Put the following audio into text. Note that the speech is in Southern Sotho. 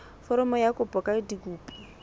foromo ya kopo ka dikopi